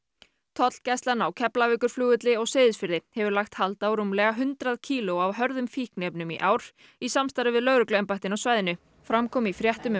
tollgæslan á Keflavíkurflugvelli og Seyðisfirði hefur lagt hald á rúmlega hundrað kíló af hörðum fíkniefnum í ár í samstarfi við lögregluembættin á svæðinu fram kom í fréttum